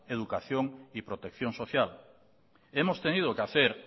educación y protección social hemos tenido que hacer